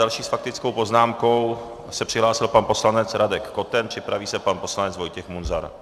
Další s faktickou poznámkou se přihlásil pan poslanec Radek Koten, připraví se pan poslanec Vojtěch Munzar.